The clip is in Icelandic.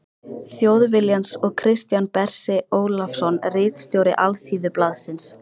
Þjóðviljans og Kristján Bersi Ólafsson ritstjóri Alþýðublaðsins.